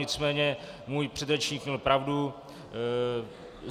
Nicméně můj předřečník měl pravdu.